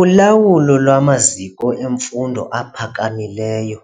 Ulawulo lwamaziko emfundo ephakamileyo